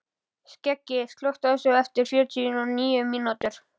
Skeggi, slökktu á þessu eftir fjörutíu og níu mínútur.